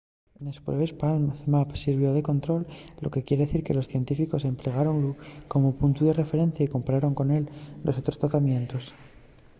nes pruebes palm zmapp sirvió de control lo que quier dicir que los científicos emplegáronlu como puntu de referencia y compararon con él los otros tratamientos